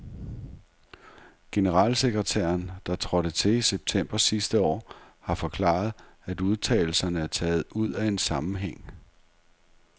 Generalsekretæren, der trådte til i september sidste år, har forklaret, at udtalelserne er taget ud af en sammenhæng.